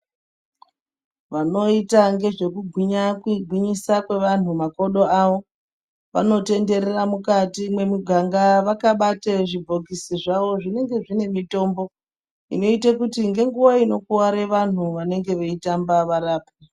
Vanoita ngezvekugwinyisa kwevanhu makodo awo vanotenderera mukati mwemuganga vakabate zvibhokisi zvawo zvinenge zvine mitombo inoite kuti ngenguwa inokuware vanhu vanenge veitamba varapwe.